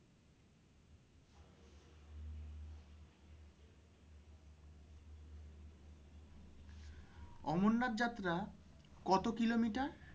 অমরনাথ যাত্রা কত কিলোমিটার?